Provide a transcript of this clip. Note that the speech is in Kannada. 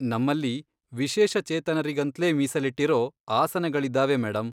ನಮ್ಮಲ್ಲಿ ವಿಶೇಷ ಚೇತನರಿಗಂತ್ಲೇ ಮೀಸಲಿಟ್ಟಿರೋ ಆಸನಗಳಿದಾವೆ ಮೇಡಂ.